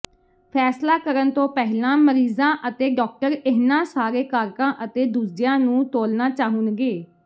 ਫੈਸਲਾ ਕਰਨ ਤੋਂ ਪਹਿਲਾਂ ਮਰੀਜ਼ਾਂ ਅਤੇ ਡਾਕਟਰ ਇਨ੍ਹਾਂ ਸਾਰੇ ਕਾਰਕਾਂ ਅਤੇ ਦੂਜਿਆਂ ਨੂੰ ਤੋਲਣਾ ਚਾਹੁਣਗੇ